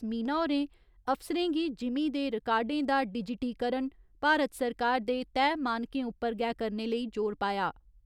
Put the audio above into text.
मीना होरें अफसरें गी जिमींं दे रिकार्डें दा डिजिटीकरण भारत सरकार दे तय मानकें उप्पर गै करने लेई जोर पाया।